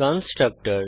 constructor